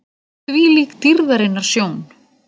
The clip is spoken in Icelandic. ÞVÍLÍK DÝRÐARINNAR SJÓN!